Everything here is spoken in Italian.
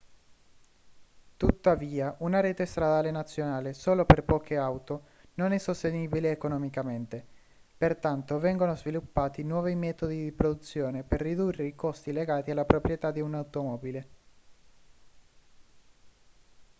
tuttavia una rete stradale nazionale solo per poche auto non è sostenibile economicamente pertanto vengono sviluppati nuovi metodi di produzione per ridurre i costi legati alla proprietà di un'automobile